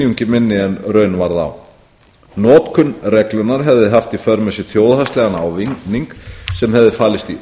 minni en raun varð á notkun reglunnar hefði haft í för með sér þjóðhagslegan ávinning sem hefði falist í